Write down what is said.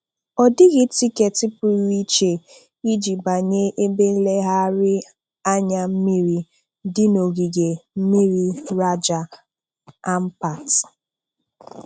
Ọ dịghị tiketi pụrụ iche iji banye ebe nlegharị anya mmiri dị n'ogige mmiri Raja Ampat.